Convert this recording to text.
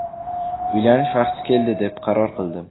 Uylanish vaqti keldi deb qaror qildim.